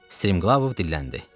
Striqlavov dilləndi.